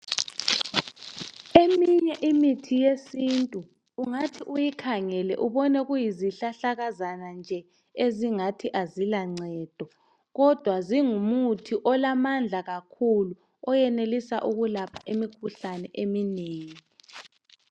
Eminye imithi yesintu ungathi uyikhangele ubone kuyizihlahlakazana nje ezingathi azilancedo kodwa zingumuthi olamandla kakhulu oyenelisa ukulapha imikhuhlane eminengi.